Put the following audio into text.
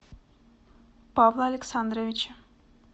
павла александровича